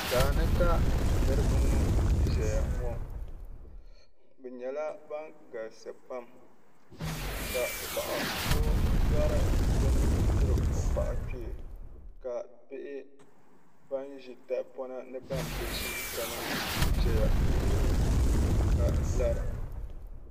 daani ka niriba ŋɔ ʒeya ŋɔ bɛ nyɛla ban galisi pam ka paɣa so lɔri bini tiri o paɣa kpee ka bihi ban ʒi tahapona ni ban bi ʒi kana n-ti za ya lihiri o ka lara.